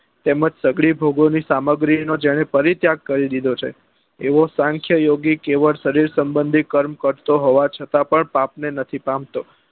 તેમજ સગળી ભોગો ની સામગ્રી નો જેને ફરી ત્યાગ કરી દીધો છે એવો સાંખ્ય યોગી કેવળ સરીર સંબંધી કર્મ કરતો હોવા છતાં પણ પાપ ને નથી પામતો